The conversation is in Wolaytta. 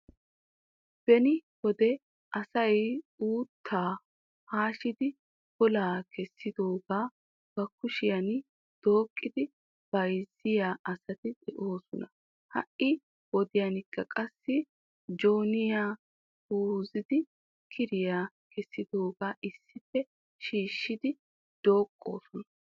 Beni wode asay uuttaa haashshidi golaa kessidooga ba kushiyaan dooqqidi bayzziyaa asati de'oosona, ha'i wodiyaankk qassi jooniya puuzidi kiriyaa kessidooga issippe shiishshidi dooqosona.